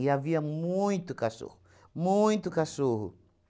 E havia muito cachorro, muito cachorro.